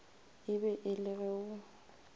be e le ge o